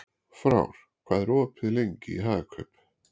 Frár, hvað er opið lengi í Hagkaup?